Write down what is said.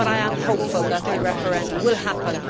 I am hopeful that the referendum will happen.